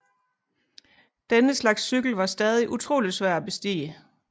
Denne slags cykel var stadig utrolig svær at bestige